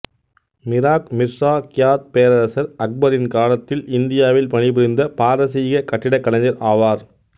மிராக் Mirza Ghiyath பேரரசர் அக்பரின் காலத்தில் இந்தியாவில் பணிபுரிந்த பாரசீகக் கட்டிடக்கலைஞர் ஆவார்